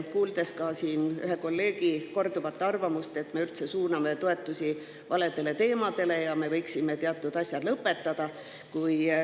Kuuleme siin ju korduvalt ka ühe kolleegi arvamust, et me suuname toetusi üldse valede teemade ja me võiksime teatud asjad lõpetada.